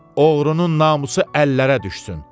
Oğrunun namusu əllərə düşsün.